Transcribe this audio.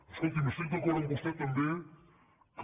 escolti’m estic d’acord amb vostè també que